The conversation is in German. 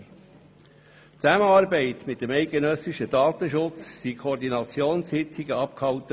In Zusammenarbeit mit dem eidgenössischen Datenschutz wurden Koordinationssitzungen abgehalten.